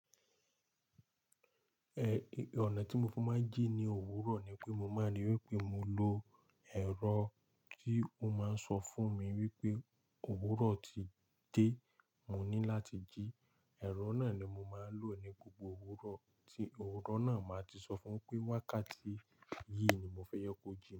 È, ọnà tí mo fi máa ń jí ní òwúrọ̀ ni pé mo máa rí wipé mo lọ ẹ̀rọ tí ó máa ń sọ fún mi wípé òwúrọ̀ ti dé, mo ní láti jí. Ẹ̀rọ náà ni mo máa ń lò ní gbogbo òwúrọ̀ tí òwúrọ̀ náà, màá ti sọ fún pé wákàtí yìí ni mo fẹ́ je kó jimi.